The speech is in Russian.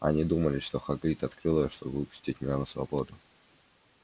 они думали что хагрид открыл её чтобы выпустить меня на свободу